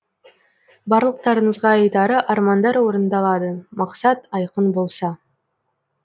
барлықтарыңызға айтары армандар орындалады мақсат айқын болса